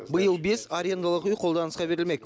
биыл бес арендалық үй қолданысқа берілмек